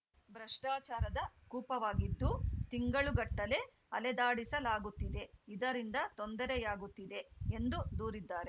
ಭ್ರಷ್ಟಾಚಾರದ ಕೂಪವಾಗಿದ್ದು ತಿಂಗಳುಗಟ್ಟಲೆ ಅಲೆದಾಡಿಸಲಾಗುತ್ತಿದೆ ಇದರಿಂದ ತೊಂದರೆಯಾಗುತ್ತಿದೆ ಎಂದು ದೂರಿದ್ದಾರೆ